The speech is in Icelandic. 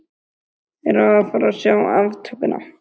Erum við að fara að sjá aftökuna?